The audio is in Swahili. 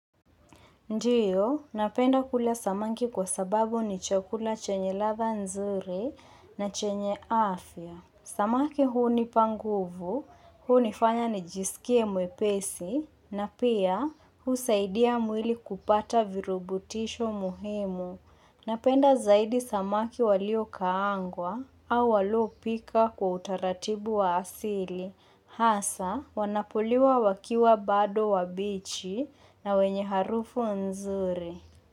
Ndiyo, napenda kula samaki kwa sababu ni chakula chenye ladha nzuri na chenye afya. Samaki huni panguvu, hu ni fanya ni jisikie mwepesi, na pia hu saidia mwili kupata virubutisho muhimu. Napenda zaidi samaki walio kaangwa au walopika kwa utaratibu wa asili. Hasa wanapoliwa wakiwa bado wambichi na wenye harufu nzuri.